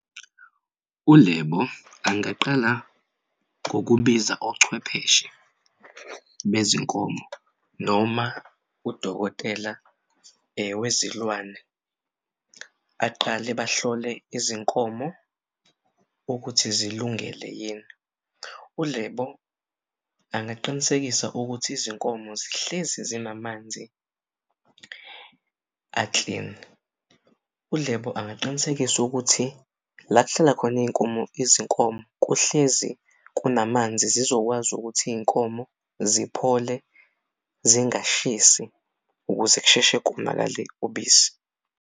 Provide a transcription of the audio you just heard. ULebo angaqala ngokubiza ochwepheshe bezinkomo noma udokotela wezilwane aqale bahlole izinkomo ukuthi zilungele yini. ULebo angaqinisekisa ukuthi izinkomo zihlezi zinamanzi a-clean. ULebo angaqinisekisa ukuthi la kuhlala khona izinkomo kuhlezi kunamanzi zizokwazi ukuthi iy'nkomo ziphole zingashisi ukuze kusheshe konakale ubisi.